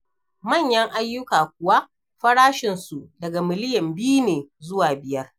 Manyan ayyuka kuwa farashinsu daga miliyan biyu ne zuwa biyar.